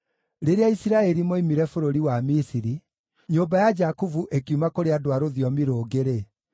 Rĩrĩa Isiraeli moimire bũrũri wa Misiri, nyũmba ya Jakubu ĩkiuma kũrĩ andũ a rũthiomi rũngĩ-rĩ,